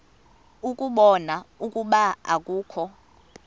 ukubona ukuba akukho